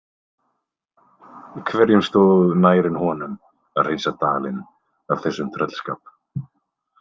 Hverjum stóð nær en honum að hreinsa dalinn af þessum tröllskap?